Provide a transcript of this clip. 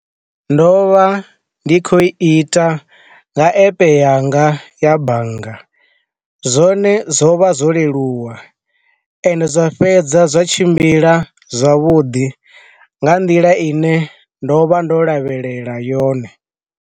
Ndo vha ndi khou i ita nga epe yanga ya bannga, zwone zwo vha zwo leluwa ende zwa fhedza zwa tshimbila zwavhudi nga nḓila ine ndo vha ndo lavhelela yone.